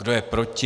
Kdo je proti?